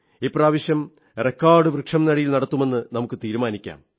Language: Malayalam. ഇപ്രാവശ്യം റെക്കോർഡ് വൃക്ഷം നടീൽ നടത്തുമെന്നു തീരുമാനിക്കാം